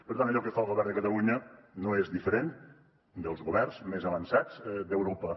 per tant allò que fa el govern de catalunya no és diferent dels governs més avançats d’europa